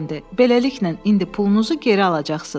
Beləliklə, indi pulunuzu geri alacaqsınız.